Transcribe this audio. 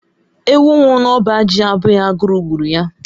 Ewu nwụrụ na ọba ji abụghị agụrụ gburu ya.